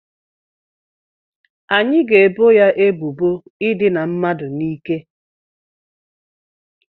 Anyị ga-ebo ya ebubo ịdịna mmadụ n'ike